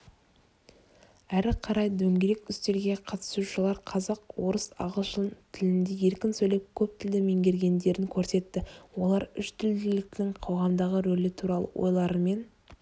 әрі қарай дөңгелек үстелге қатысушылар қазақ орыс ағылшын тілінде еркін сөйлеп көп тілді меңгергендерін көрсетті олар үштілділіктің қоғамдағы рөлі туралы ойларымен